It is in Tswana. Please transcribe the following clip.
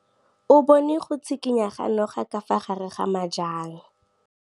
O bone go tshikinya ga noga ka fa gare ga majang.